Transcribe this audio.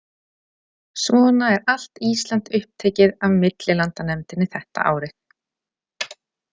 Svona er allt Ísland upptekið af millilandanefndinni þetta árið.